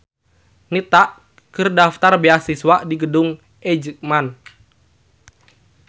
Nita keur daftar beasiswa di Gedung eijkman